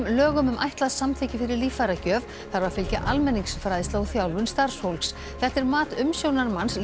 lögum um ætlað samþykki fyrir líffæragjöf þarf að fylgja almenningsfræðsla og þjálfun starfsfólks þetta er mat umsjónarmanns